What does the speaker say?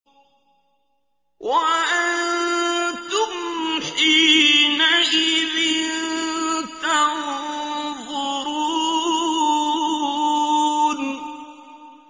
وَأَنتُمْ حِينَئِذٍ تَنظُرُونَ